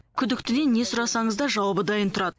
күдіктіден не сұрасаңыз да жауабы дайын тұрады